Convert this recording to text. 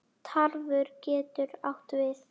Tarfur getur átt við